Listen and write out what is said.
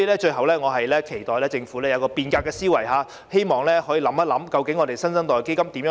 最後，我期待政府有變革的思維，亦希望當局好好考慮如何運作"新生代基金"。